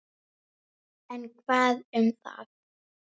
En hvað um það